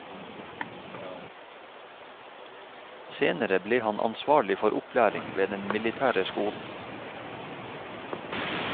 Senere ble han ansvarlig for opplæring ved den militære skolen.